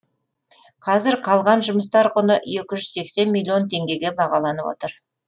қазір қалған жұмыстар құны екі жүз сексен миллион теңгеге бағаланып отыр